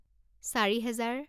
চাৰি হেজাৰ